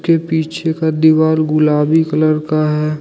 पीछे का दीवाल गुलाबी कलर का है।